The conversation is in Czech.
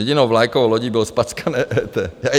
Jedinou vlajkovou lodí bylo zpackané EET.